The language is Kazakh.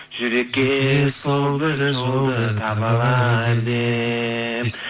жүрекке сол бір жолды табалар деп